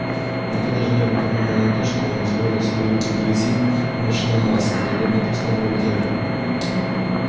никто даже не обратил внимания на то что он извозил свои руки в грязи и машинном масле подобно простому работяге